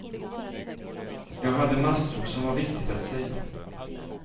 Jag hade massor som var viktigt att säga.